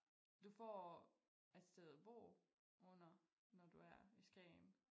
Du får et sted at bo under når du er i Skagen